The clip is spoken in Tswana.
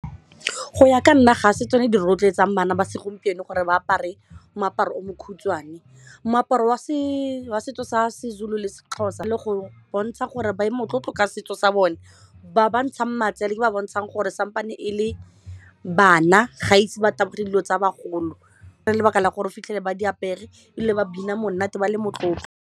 Go ya ka nna ga se tsone di rotloetsang bana ba segompieno gore ba apare moaparo o mokhutswane moaparo wa setso sa seZulu seXhosa le go bontsha gore ba ye motlotlo ka setso sa bone ba ba ntshang matsele ba bontshang gore sampane e le bana ga ise ba tabogele dilo tsa bagolo ka lebaka la gore o fitlhele ba di apere ebile ba bina monate ba le motlotlo.